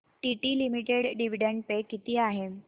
TT limited dividend pay किती आहे